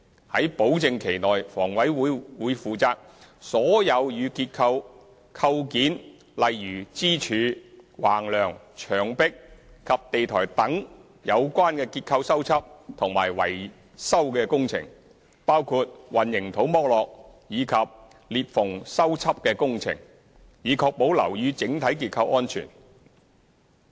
於保證期內，房委會會負責所有與結構構件如支柱、橫樑、牆壁及地台等有關的結構修葺及維修工程，包括混凝土剝落及裂縫修葺的工程，以確保樓宇整體結構安全。